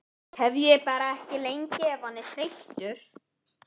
Tefjið bara ekki lengi ef hann er þreyttur